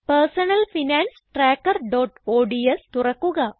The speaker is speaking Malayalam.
personal finance trackerഓഡ്സ് തുറക്കുക